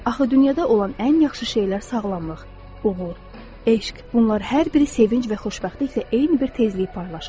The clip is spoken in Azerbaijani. Axı dünyada olan ən yaxşı şeylər sağlamlıq, uğur, eşq, bunlar hər biri sevinc və xoşbəxtliklə eyni bir tezliyi paylaşır.